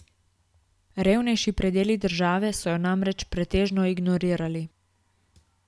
Revnejši predeli države so jo namreč pretežno ignorirali.